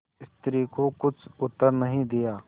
स्त्री को कुछ उत्तर नहीं दिया